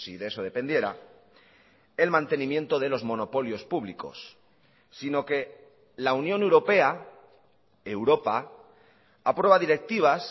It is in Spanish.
de eso dependiera el mantenimiento de los monopolios públicos sino que la unión europea europa aprueba directivas